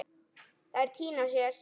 Þær týna sér.